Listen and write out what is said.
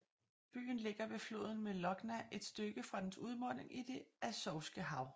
Byen ligger ved floden Molochna et stykke fra dens udmunding i Det Azovske Hav